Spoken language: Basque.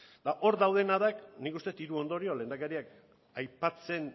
eta hor daudenak da nik uste dut hiru ondorio lehendakariak aipatzen